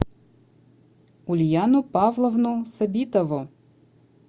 ульяну павловну сабитову